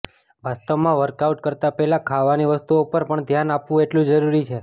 વાસ્તવમાં વર્કઆઉટ કરતાં પહેલાં ખાવાની વસ્તુઓ પર પણ ધ્યાન આપવું એટલું જરૂરી છે